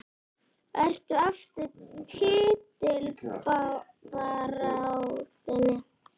Ertu aftur í titilbaráttunni?